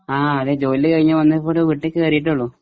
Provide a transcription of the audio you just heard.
ആ അതെ ജോലി കഴിഞ്ഞു വന്ന് വീട്ടിൽ കേറിയിട്ടേയുള്ളൂ.